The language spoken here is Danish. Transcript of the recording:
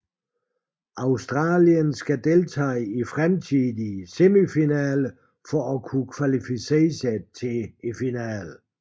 Australien skal deltage i fremtidige semifinaler for at kvalificere sig til finalen